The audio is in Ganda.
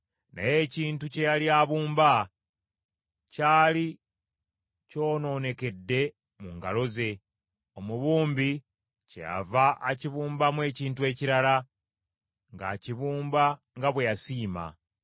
Naye ekintu kye yali abumba kyali kyonoonekedde mu ngalo ze, omubumbi kyeyava akibumbamu ekintu ekirala ng’akibumba nga bwe yasiima.